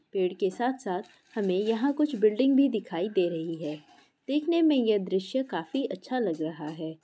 पेड़ के साथ-साथ हमें यहाँ कुछ बिल्डिंग भी दिखाई दे रही है देखने में ये दृश्य काफी अच्छा लग रहा है।